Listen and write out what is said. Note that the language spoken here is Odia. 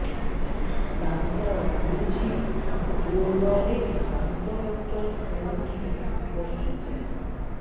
ଦାନ୍ତ ବିନ୍ଧୁଛି ଜୋରରେ ଦାନ୍ତ ଡକ୍ଟର କୋଉଠି ବସୁଛନ୍ତି